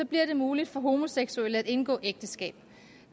bliver det muligt for homoseksuelle at indgå ægteskab